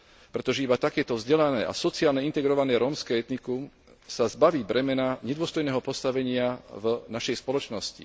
Pretože iba takéto vzdelané a sociálne integrované rómske etnikum sa zbaví bremena nedôstojného postavenia v našej spoločnosti.